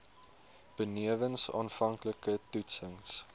benewens aanvanklike toetsings